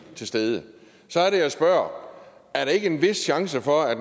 til stede så er det jeg spørger er der ikke en vis chance for at